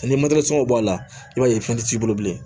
Ni b'a la i b'a ye fɛn tɛ t'i bolo bilen